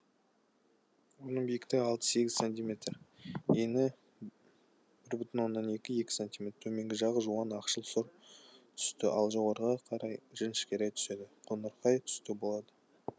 оның биіктігі алты сегіз сантиметр ені бір бүтін оннан екі екі сантиметр төменгі жағы жуан ақшыл сұр түсті ал жоғары қарай жіңішкере түседі қоңырқай түсті болады